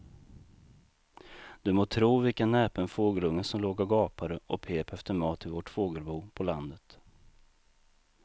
Du må tro vilken näpen fågelunge som låg och gapade och pep efter mat i vårt fågelbo på landet.